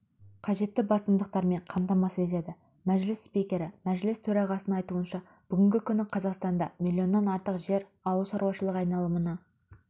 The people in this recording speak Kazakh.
қажетті басымдықтармен қамтамасыз етеді мәжіліс спикері мәжіліс төрағасының айтуынша бүгінгі күні қазақстанда миллионнан артық жер ауыл шаруашылығы айналымына